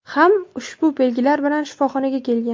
ham ushbu belgilar bilan shifoxonaga kelgan.